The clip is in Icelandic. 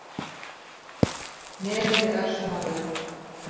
Nefið er örsmá rauð